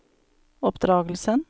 oppdragelsen